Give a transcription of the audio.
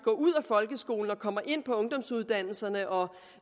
ud af folkeskolen og kommer ind på ungdomsuddannelserne og